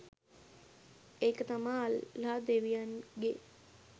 ඒක තමා අල්ලාහ් දෙවියන්ගේ